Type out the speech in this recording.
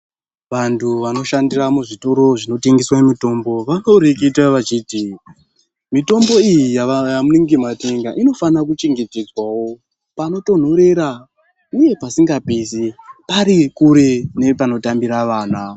ZVantu vanoshandira muzvitoro zvinotengeswa mitombo ,vanoreketa vachiti ,mitombo iyi yava yamunenge matenga inofana kuchengetedzwawo panotonhorera ,uye pasingapisi, pari kure nepanotambira vana.